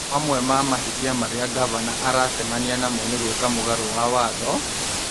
Mamwe ma mahĩtia marĩa ngavana aracemania namo nĩ gwĩka mũgarũ na Watho,